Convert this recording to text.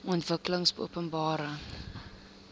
ontwikkelingopenbare